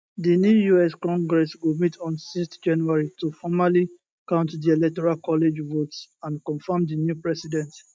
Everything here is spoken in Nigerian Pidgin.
di new us congress go meet on 6 january to formally count di electoral college votes and confam di new president